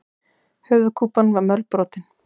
Höfuðkúpan var mölbrotin.